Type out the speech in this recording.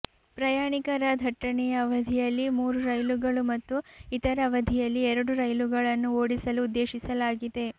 ಪ್ರಯಾಣಿಕರ ದಟ್ಟಣೆಯ ಅವಧಿಯಲ್ಲಿ ಮೂರು ರೈಲುಗಳು ಮತ್ತು ಇತರ ಅವಧಿಯಲ್ಲಿ ಎರಡು ರೈಲುಗಳನ್ನು ಓಡಿಸಲು ಉದ್ದೇಶಿಸಲಾಗಿದೆ